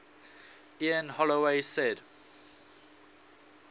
ian holloway said